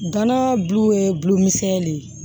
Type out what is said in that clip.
Gana bulu ye bulon misɛnnin de ye